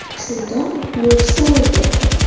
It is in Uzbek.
Shunda, mo‘jiza ro‘y berdi.